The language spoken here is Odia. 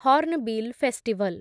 Hornbill festival